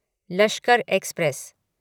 Lashkar express